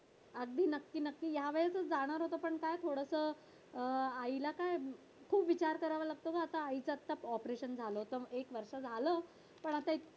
अगदी नक्की नक्की या वेळेसच जाणार होते पण काय थोडसं आईला काय खूप विचार करावा लागतो ना आता आईच आताच operation झालं तर एक वर्ष झालं पण असे